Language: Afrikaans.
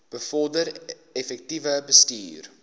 bevorder effektiewe bestuur